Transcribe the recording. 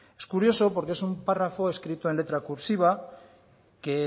es curioso porque es un párrafo escrito en letra cursiva